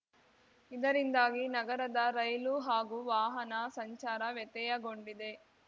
ಇದರಿಂದಾಗಿ ನಗರದ ರೈಲು ಹಾಗೂ ವಾಹನ ಸಂಚಾರ ವ್ಯತ್ಯಯಗೊಂಡಿದೆ